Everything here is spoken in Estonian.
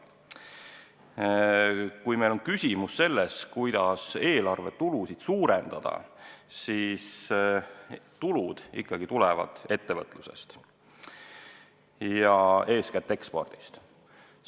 Kui küsimus on selles, kuidas eelarvetulusid suurendada, siis tulud ikkagi tulevad ettevõtlusest ja eeskätt ekspordist.